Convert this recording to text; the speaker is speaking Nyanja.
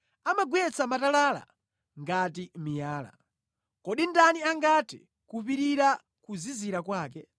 Amagwetsa matalala ngati miyala. Kodi ndani angathe kupirira kuzizira kwake?